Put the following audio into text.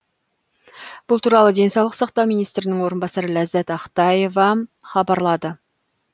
бұл туралы денсаулық сақтау министрінің орынбасары ләззат ақтаева хабарлады